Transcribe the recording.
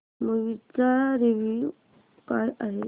movie चा review काय आहे